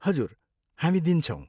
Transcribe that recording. हजुर, हामी दिन्छौँ।